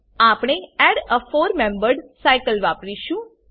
આપણે add a four membered cycleવાપરીશું